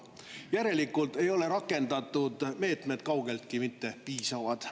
Järelikult ei ole rakendatud meetmed kaugeltki mitte piisavad.